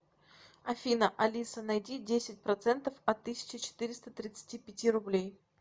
афина алиса найди десять процентов от тысячи четыреста тридцати пяти рублей